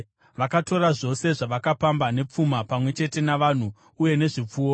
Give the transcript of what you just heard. Vakatora zvose zvavakapamba, nepfuma, pamwe chete navanhu uye nezvipfuwo,